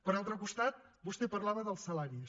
per un altre costat vostè parlava dels salaris